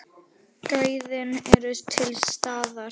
Gæðin eru til staðar.